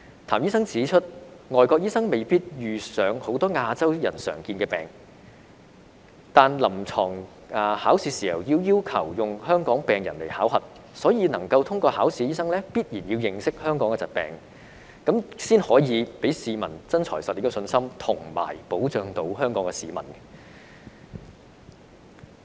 譚醫生指出，外國醫生未必遇上很多亞洲人的常見病，但考臨床試時，因為要求以香港病人來考核，所以能夠通過考核的醫生，必然要認識香港的疾病，才可以給市民"真材實料"的信心，以及保障香港市民。